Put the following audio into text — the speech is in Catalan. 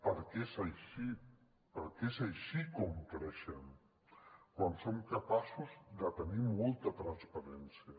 perquè és així perquè és així com creixem quan som capaços de tenir molta transparència